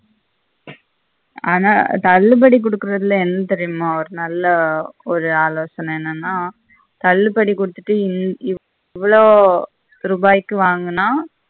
ஆனா தள்ளுபடி குடுக்ரதுல எந்த நல்ல ஒரு ஆலோசன என்னன்னா உம் தள்ளுபடி குடுத்திட்டு இவ்வளோ ரூபாய்க்கு வாங்கினா